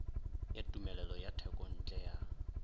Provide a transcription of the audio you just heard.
ya tumelelo ya thekontle ya